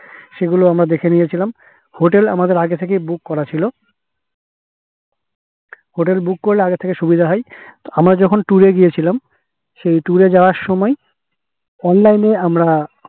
সেগুলো আমরা দেখে নিয়েছিলাম hotel আমাদের আগে থেকেই book করা ছিল hotel book করলে আগে থেকে সুবিধা হয় আমরা যখন tour এ গিয়েছিলাম সেই tour এ যাওয়ার সময় online এ আমরা